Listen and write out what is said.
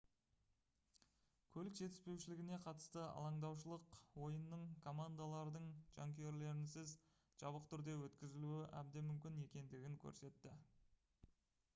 көлік жетіспеушілігіне қатысты алаңдаушылық ойынның командалардың жанкүйерлерінсіз жабық түрде өткізілуі әбден мүмкін екендігін көрсетті